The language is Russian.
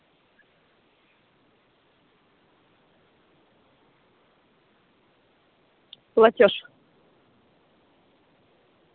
платёж